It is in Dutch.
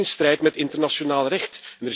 Het is ook in strijd met internationaal recht.